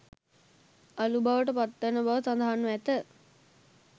අළු බවට පත්වන බව සඳහන්ව ඇත